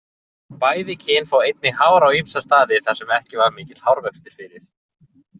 Bæði kyn fá einnig hár á ýmsa staði þar sem ekki var mikill hárvöxtur fyrir.